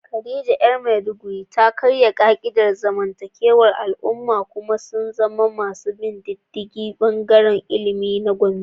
Khadija ‘yar Maiduguri ta karya ka’idar zamantakewar al’umma kuma ta zama mai bin diddigi a bangaren ilimi na Gombe.